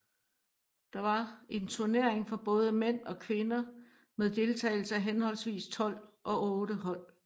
Der var en turnering for både mænd og kvinder med deltagelse af henholdsvis tolv og otte hold